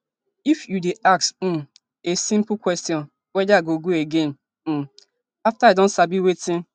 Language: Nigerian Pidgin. if you dey ask um a simple question weda i go again um afta i don sabi wetin